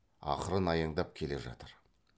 ақырын аяңдап келе жатыр